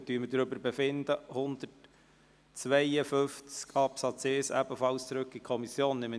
Wir befinden darüber, den Artikel 152 Absatz 1 ebenfalls an die Kommission zurückzuweisen.